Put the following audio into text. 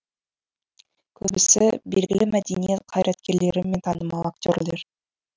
көбісі белгілі мәдениет қайраткерлері мен танымал актерлер